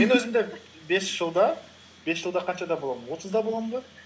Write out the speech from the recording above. мен өзімді бес жылда бес жылда қаншада боламын отызда боламын ба